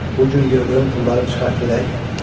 Bu gün yığdığım pulları çıxart görək!